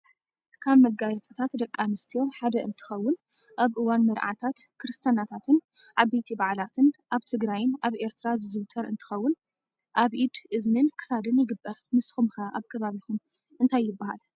ካብ መጋየፅታት ደቂ ኣንስትዮ ሓደ እንትኾውን ኣብ እዋን መርዓታት፣ ክርስትናታትን ዓበይቲ በዓላትን ኣብ ትግራይን ኣብ ኤርትራ ዝዝውተር እንኾውን ኣብ ኢድ፣ እዝኒን ክሳድን ይግበር። ንስኹም ኸ ኣብ ብከባቢኹም እንታይ ይበሃል?